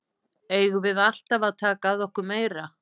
Eigum við alltaf að taka að okkur meira?